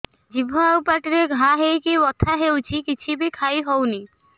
ଜିଭ ଆଉ ପାଟିରେ ଘା ହେଇକି ବଥା ହେଉଛି କିଛି ବି ଖାଇହଉନି